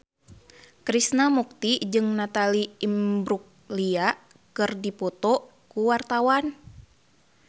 Krishna Mukti jeung Natalie Imbruglia keur dipoto ku wartawan